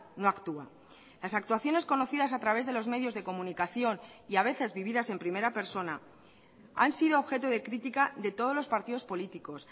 no actúa las actuaciones conocidas a través de los medios de comunicación y a veces vividas en primera persona han sido objeto de crítica de todos los partidos políticos